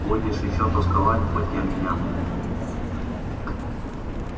будешь ещё тосковать по тем дням